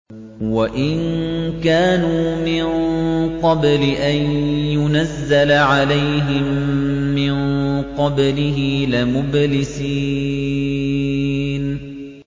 وَإِن كَانُوا مِن قَبْلِ أَن يُنَزَّلَ عَلَيْهِم مِّن قَبْلِهِ لَمُبْلِسِينَ